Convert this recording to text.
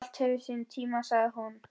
Allt hefur sinn tíma, sagði hún.